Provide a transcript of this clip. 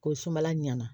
Ko sumala ɲana